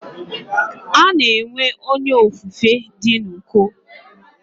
Ana enwe Onye ofufe di n'uko.